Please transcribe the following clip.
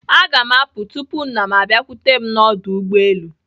Aga m apụ tupu nna m abiakwute m n'ọdụ ụgbọelu.